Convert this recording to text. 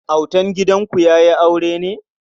Autan gidanku ya yi aure ne?